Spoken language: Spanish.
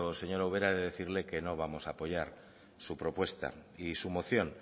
señora ubera he de decirle que no vamos a apoyar su propuesta y su moción